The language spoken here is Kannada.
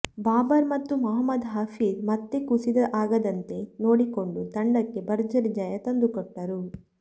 ಬಾಬರ್ ಮತ್ತು ಮೊಹಮ್ಮದ್ ಹಫೀಜ್ ಮತ್ತೆ ಕುಸಿತ ಆಗದಂತೆ ನೋಡಿಕೊಂಡು ತಂಡಕ್ಕೆ ಭರ್ಜರಿ ಜಯ ತಂದಕೊಟ್ಟರು